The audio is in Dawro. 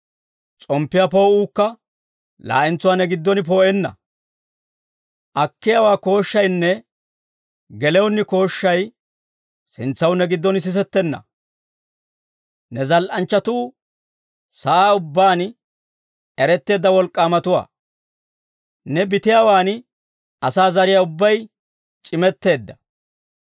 S'omppiyaa poo'uukka laa'entsuwaa ne giddon poo'enna. Akkiyaawaa kooshshaynne gelewunni kooshshay, sintsaw ne giddon sisettenna. Ne zal"anchchatuu sa'aa ubbaan, eretteedda wolk'k'aamatuwaa. Ne bitiyaawan asaa zariyaa ubbay c'imetteedda.